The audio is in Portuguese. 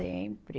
Sempre.